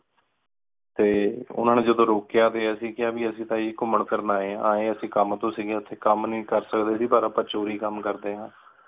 T ਓਹਨਾ ਨੀ ਜਦੋਂ ਰੋਕਯਾ ਤੇ ਅੱਸੀ ਕਿਹਾ ਵੀ ਐਸੀ ਤਾ ਜੀ ਗੁਮੰਣ ਵਿਰਣ ਆਏ ਹਾਂ ਆਏ ਐਸੀ ਕਮ ਤੋਂ ਸੀਗੇ ਏਥੇ। ਕਮ ਨਹੀਂ ਕਰ ਸਕਦੇ ਸੀ ਪਰ ਚੋਰੀ ਕਮ ਕਰਦੇ ਹਾਂ।